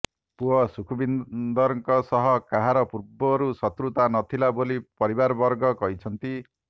ପୁଅ ସୁଖବିନ୍ଦରଙ୍କ ସହ କାହାର ପୂର୍ବରୁ ଶତ୍ରୁତା ନ ଥିଲା ବୋଲି ପରିବାରବର୍ଗ କହିଛନ୍ତି